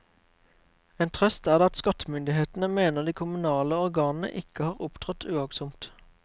En trøst er det at skattemyndighetene mener de kommunale organene ikke har opptrådt uaktsomt.